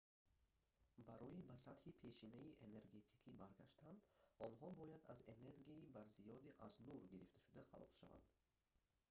барои ба сатҳи пешинаи энергетикӣ баргаштан онҳо бояд аз энергияи барзиёди аз нур гирифташуда халос шаванд